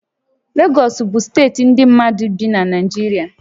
Legọs bụ steeti ndị mmadụ bi na Naịjirịa